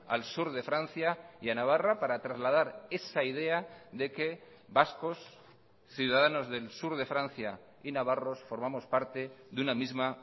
al sur de francia y a navarra para trasladar esa idea de que vascos ciudadanos del sur de francia y navarros formamos parte de una misma